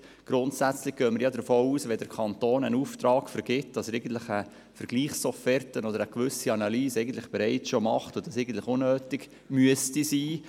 Grundsätzlich gehen wir davon aus, dass der Kanton, wenn er einen Auftrag vergibt, bereits eine Offerte einholt oder eine Analyse vornimmt, sodass diese Forderung eigentlich unnötig sein sollte.